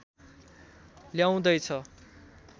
ल्याउँदै छ